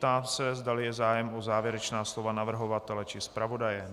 Ptám se, zdali je zájem o závěrečná slova navrhovatele či zpravodaje.